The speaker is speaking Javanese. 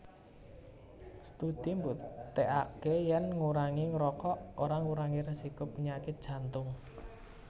Studi mbuktèkaké yèn ngurangi ngrokok ora ngurangi résiko penyakit Jantung